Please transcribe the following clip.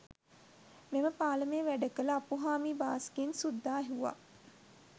මෙම පාලමේ වැඩකළ අප්පුහාමි බාස්ගෙන් සුද්දා ඇහුවා